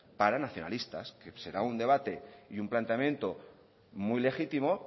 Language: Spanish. para nacionalistas será un debate y un planteamiento muy legítimo